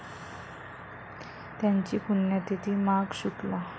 त्यांची पुण्यतिथी माघ शु.